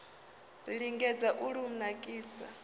ri lingedze u lu nakisa